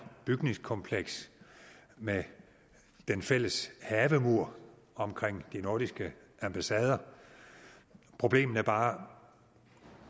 bygningskompleks med den fælles havemur omkring de nordiske ambassader problemet er bare